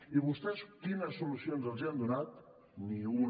i vostè quines solucions els han donat ni una